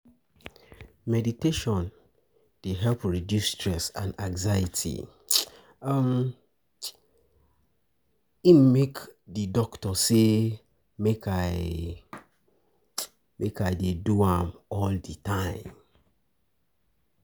Meditation dey help reduce stress and anxiety, um na im make di doctor say make I dey do am all di time.